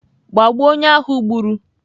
Gbagbuo onye ahụ gburu!